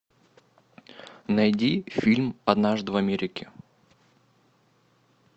найди фильм однажды в америке